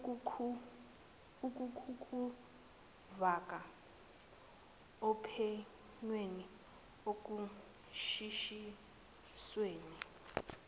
ukukufaka ophenyweni ekushushisweni